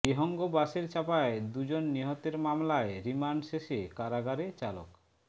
বিহঙ্গ বাসের চাপায় দুজন নিহতের মামলায় রিমান্ড শেষে কারাগারে চালক